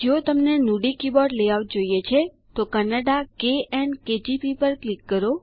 જો તમને Nudi keyboard layout જોઈએ છે તો કન્નડા - કેએન કેજીપી પર ક્લિક કરો